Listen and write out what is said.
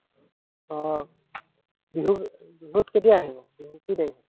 আহ বিহু, বিহুত কেতিয়া আহিব, বিহুৰ কি তাৰিখে?